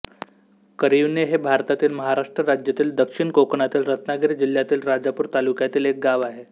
करिवणे हे भारतातील महाराष्ट्र राज्यातील दक्षिण कोकणातील रत्नागिरी जिल्ह्यातील राजापूर तालुक्यातील एक गाव आहे